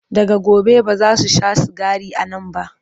daga gobe bazasu Sha sigari a Nan ba